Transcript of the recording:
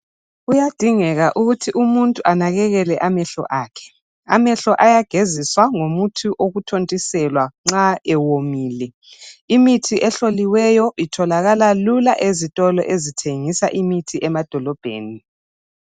Kuyadingeka ukuthi umuntu anekekele amehlo akhe. Amehlo ayageziswa ngomuthi wokuthontiselwa nxa ewomile. Imithi ehloliweyo itholakala lula ezitolo ezithengisa imithi emadolobheni.